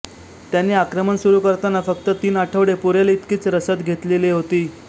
त्यांनी आक्रमण सुरू करताना फक्त तीन आठवडे पुरेल इतकीच रसद घेतलेली होती